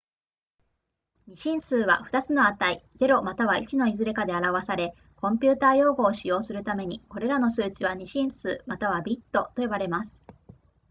2進数は、2つの値0または1のいずれかで表され、コンピュータ用語を使用するために、これらの数値は2進数またはビットと呼ばれます